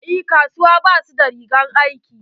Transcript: En kasuwa ba su da rigar aiki.